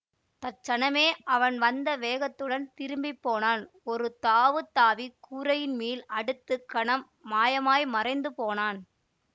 தட்சணமே அவன் வந்த வேகத்துடனே திரும்பி போனான் ஒரு தாவுத் தாவிக் கூரை மீதேறி அடுத்து கணம் மாயமாய் மறைந்து போனான்